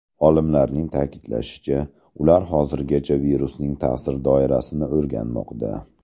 Olimlarning ta’kidlashicha, ular hozirgacha virusning ta’sir doirasini o‘rganmoqda.